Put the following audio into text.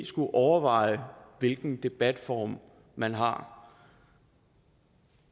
skulle overveje hvilken debatform man har